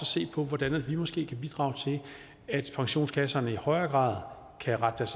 se på hvordan vi måske kan bidrage til at pensionskasserne i højere grad kan rette